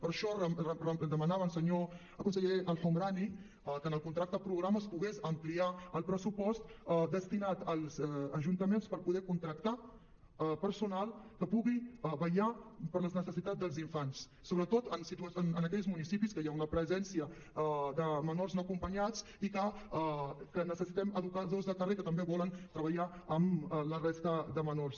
per això demanàvem senyor conseller el homrani que en el contracte programa es pogués ampliar el pressupost destinat als ajuntaments per poder contractar personal que pugui vetllar per les necessitats dels infants sobretot en aquells municipis que hi ha una presència de menors no acompanyats i necessitem educadors de carrer que també vulguin treballar amb la resta de menors